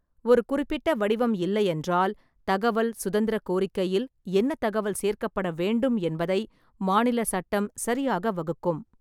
ஒரு குறிப்பிட்ட வடிவம் இல்லையென்றால், தகவல் சுதந்திர கோரிக்கையில் என்ன தகவல் சேர்க்கப்பட வேண்டும் என்பதை மாநில சட்டம் சரியாக வகுக்கும்.